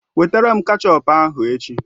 Wetara m kechọp ahụ echi!